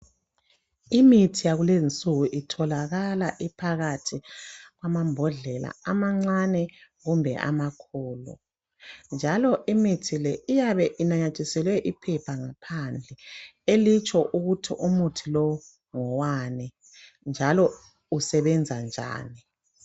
Imithi yakulezi insuku itholakala iphakathi kwamambodlela amancane kumbe amakhulu, njalo imithi leyi iyabe inanyathiselwe iphepha ngaphandle elitsho ukuthi umuthi lowu ngowani njalo usebenza njani.